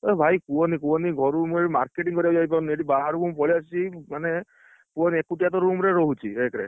ଏଇ ଭାଇ କୁହନି କୁହନି ଘରୁ ମୁଁ ଏବେ marketing କରିବାକୁ ଯାଇପାରୁନି ଏଠି ବାହାରକୁ ମୁଁ ପଳେଇଆସିଛି ମାନେ, କୁହନି ଏକୁଟିଆ ତ room ରେ ରହୁଛି ଏକ ରେ।